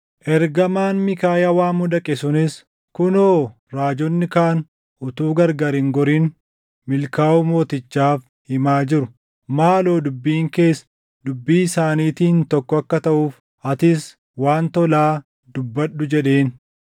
Ergamaan Miikaayaa waamuu dhaqe sunis, “Kunoo raajonni kaan utuu gargar hin gorin milkaaʼuu mootichaaf himaa jiru. Maaloo dubbiin kees dubbii isaaniitiin tokko akka taʼuuf atis waan tolaa dubbadhu” jedheen.